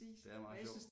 Det er meget sjovt